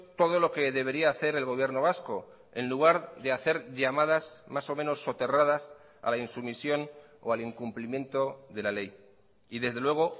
todo lo que debería hacer el gobierno vasco en lugar de hacer llamadas más o menos soterradas a la insumisión o al incumplimiento de la ley y desde luego